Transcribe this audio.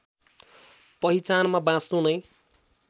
पहिचानमा बाँच्नु नै